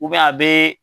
a bɛ